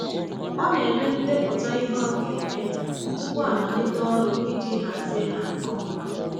Ọ na-eme ndepụta ihe ọ ga-eme tupu amalite ọrụ iji hazie ha nke ọma.